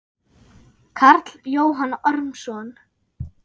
Karl Jóhann Ormsson